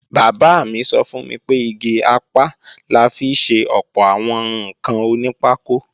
Bàbá mi sọ fún mi pé igi apá la fi ṣe ọ̀pọ̀ àwọn ǹkan onípákó